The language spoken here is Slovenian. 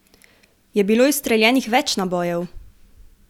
Je bilo izstreljenih več nabojev?